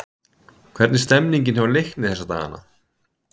Hvernig er stemningin hjá Leikni þessa dagana?